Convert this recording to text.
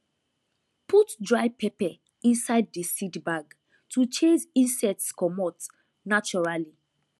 put dry pepper inside the seed bag to chase insects comot naturally